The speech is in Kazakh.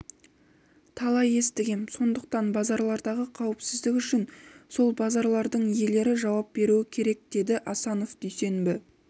талай естігем сондықтан базарлардағы қауіпсіздік үшін сол базарлардың иелері жауап беруі керек деді асанов дүйсенбі